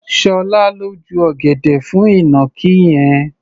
Ṣọlá ló ju ọ̀gẹ̀dẹ̀ fún ìnàkí yẹn.